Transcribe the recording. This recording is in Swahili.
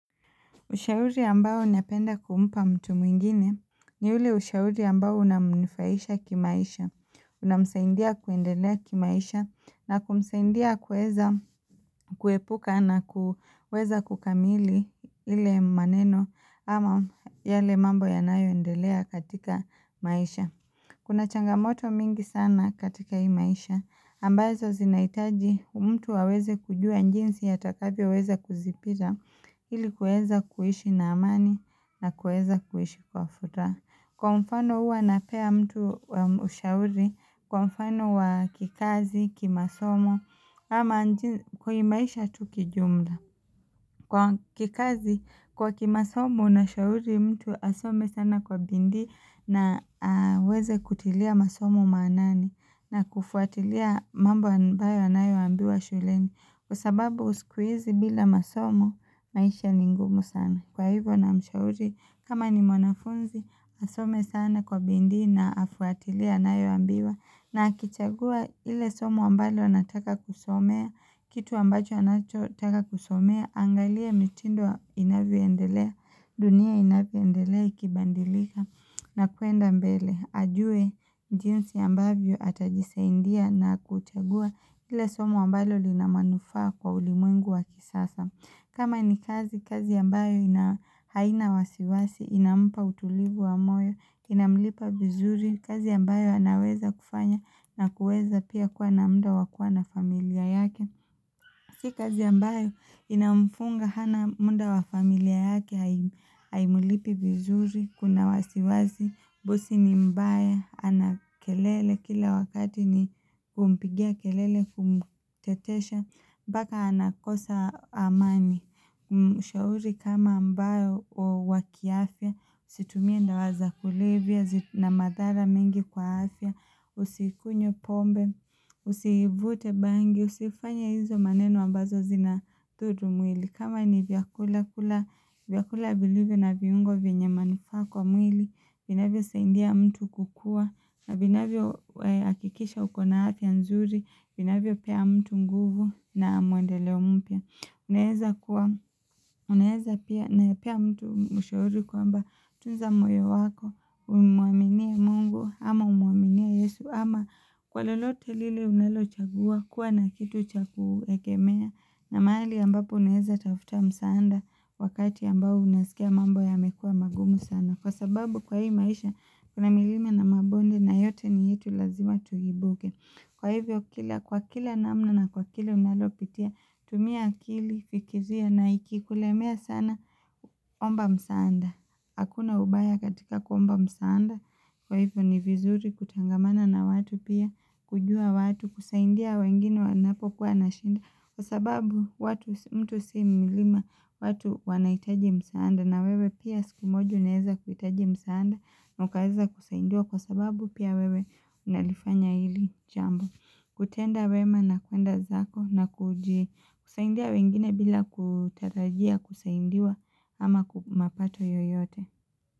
Ushauri ambao napenda kumpa mtu mwingine, ni ule ushauri ambao unamnufahisha kimaisha, unamsaindia kuendelea kimaisha, na kumsaindia kuweza kuepuka na kuweza kukamili ile maneno ama yale mambo yanayoendelea katika maisha. Kuna changamoto mingi sana katika hii maisha, ambazo zinaitaji mtu aweze kujua njinsi atakavyoweza kuzipija ili kueza kuishi na amani na kueza kuishi kwa furaha. Kwa mfano uwa napea mtu ushauri, kwa mfano wa kikazi, kimasomo, kwenye maisha tu kijumla. Kwa kikazi, kwa kimasomo nashauri mtu asome sana kwa bindi na aweze kutilia masomo manani na kufuatilia mambo ambayo anayoambiwa shuleni. Kwa sababu sikuizi bila masomo, maisha ni ngumu sana. Kwa hivyo namshauri, kama ni mwanafunzi, asome sana kwa bindi na afuatilie anayoambiwa na akichagua ile somo ambalo anataka kusomea, kitu ambacho anachotaka kusomea, aangalie mitindo inavyondelea, dunia inavyondelea ikibandilika na kuenda mbele, ajue jinsi ambavyo atajisaindia na kuchagua ile somo ambalo lina manufaa kwa ulimwengu wa kisasa. Kama ni kazi, kazi ambayo haina wasiwasi, inampa utulivu wa moyo, inamlipa vizuri, kazi ambayo anaweza kufanya na kueza pia kuwa na munda wa kua na familia yake. Si kazi ambayo inamfunga hana muda wa familia yake haimulipi vizuri, kuna wasiwasi, bosi ni mbaya, ana kelele, kila wakati ni kumpigia kelele kumtetesha, mpaka anakosa amani. Ushauri kama ambayo wa kiafia Usitumie ndawa za kulevya zina madhara mingi kwa afia Usikunywe pombe, usivute bangi Usifanye hizo maneno ambazo zinathudu mwili kama ni vyakula kula vyakula vilivyo na viungo vienye manufaa mwili vinavyo saindia mtu kukua vinavyohakikisha uko na afya nzuri vinavyopea mtu nguvu na maendeleo mpya Unaeza kuwa unaezapea mtu mshauri kwamba tunza moyo wako umwaminie mungu ama umwaminie yesu ama kwa lolote lile unalo chagua kuwa na kitu cha kuegemea na mahali ambapo unaeza tafuta msaanda wakati ambao unasikia mambo yamekua magumu sana. Kwa sababu kwa hii maisha kuna milima na mabonde na yote ni yetu lazima tuhibuke. Kwa hivyo kwa kila namna na kwa kile unalopitia tumia akili fikiria na ikikulemia sana omba msaanda. Hakuna ubaya katika kuomba msaanda Kwa hivyo ni vizuri kutengamana na watu pia kujua watu kusaindia wengine wanapokuwa na shinda Kwa sababu watu mtu si milima watu wanaitaji msaanda na wewe pia siku moja unaeza kuitaji msaanda na ukaeza kusaindiwa lwa sababu pia wewe Unalifanya hili jambo kutenda wema na kuenda zako na kusaindia wengine bila kutarajia kusaindiwa ama kwa mapato yoyote.